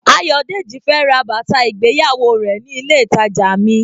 Ayodeji fẹ́ ra bàtà ìgbéyàwó rẹ̀ ní ilé ìtàjà mi.